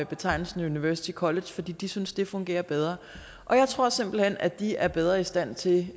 betegnelsen university college fordi de synes det fungerer bedre og jeg tror simpelt hen at de er bedre i stand til